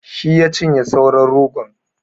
Shi ya cinye sauran rogon.